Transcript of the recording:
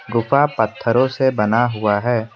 गुफा पत्थरों से बना हुआ है।